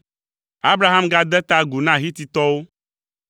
Abraham gade ta agu na Hititɔwo,